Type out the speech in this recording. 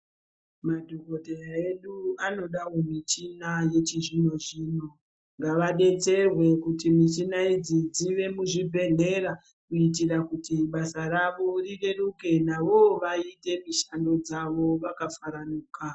Madhokodheya edu anodawo michina yachizvino zvino ngawabetserwe kuti michina idzi dziwe muzvibhedhlera kuitira kuti basa rawo rireruke, nawowo waite mushando dzawo wakafaranuka.